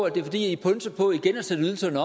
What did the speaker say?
at det er fordi i pønser på igen at sætte ydelserne